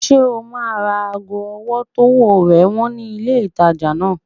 Ṣé o máa ra ago ọwọ́ tówó rẹ̀ wọ́n ní ilé ìtajà náà?